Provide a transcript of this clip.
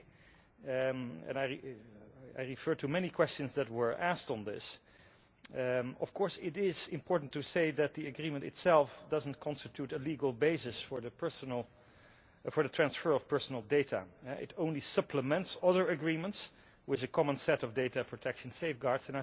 I think and I refer to many questions that were asked on this it is important to say that the agreement itself does not constitute a legal basis for the transfer of personal data, it only supplements other agreements with a common set of data protection safeguards.